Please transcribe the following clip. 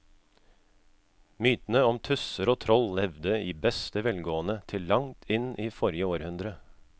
Mytene om tusser og troll levde i beste velgående til langt inn i forrige århundre.